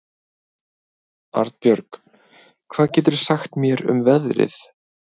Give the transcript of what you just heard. Arnbjörg, hvað geturðu sagt mér um veðrið?